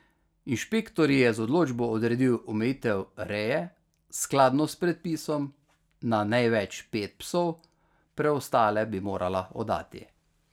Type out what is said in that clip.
Inšpektor ji je z odločbo odredil omejitev reje, skladno s predpisom, na največ pet psov, preostale bi morala oddati.